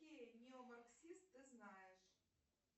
какие неомарксист ты знаешь